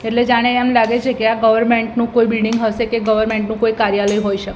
એટલે જાણે એમ લાગે છે કે આ ગવર્મેન્ટ નું કોઈ બિલ્ડીંગ હસે કે ગવર્મેન્ટ નું કોઈ કાર્યાલય હોઈ શ--